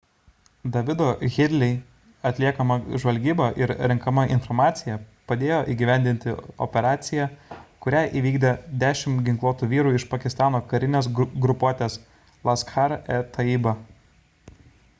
davido headley'o atliekama žvalgyba ir renkama informacija padėjo įgyvendinti operaciją kurią įvykdė 10 ginkluotų vyrų iš pakistano karinės grupuotės laskhar-e-taiba